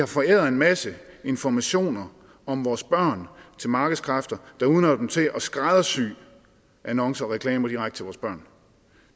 forærer en masse informationer om vores børn til markedskræfter der udnytter dem til at skræddersy annoncer og reklamer direkte til vores børn